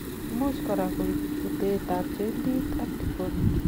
imuch korak koib butet ab jointit ak deformity